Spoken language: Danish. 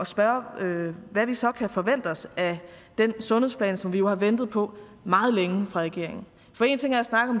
spørge hvad vi så kan forvente os af den sundhedsplan som vi jo har ventet på meget længe fra regeringen